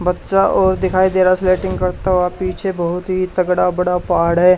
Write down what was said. बच्चा और दिखाई दे रहा स्केटिंग करता हुआ पीछे बहुत ही तगड़ा बड़ा पहाड़ है।